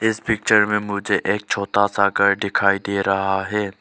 इस पिक्चर में मुझे एक छोटा सा घर दिखाई दे रहा है।